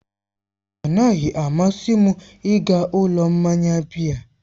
Ọnaghị amasị m ịga ụlọ mmanya biya.